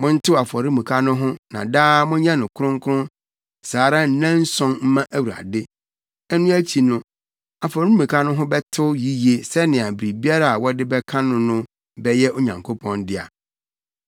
Montew afɔremuka no ho na daa monyɛ no kronkron saa ara nnanson mma Onyankopɔn. Ɛno akyi no, afɔremuka no ho bɛtew yiye sɛnea biribiara a wɔde bɛka no no bɛyɛ Onyankopɔn dea.